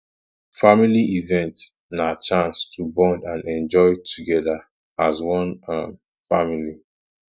family event na chance to bond and enjoy together as one um family